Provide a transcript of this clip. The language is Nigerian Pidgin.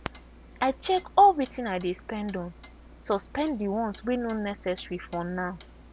i check all wetin i dey spend on suspend the ones wey no necessary for now.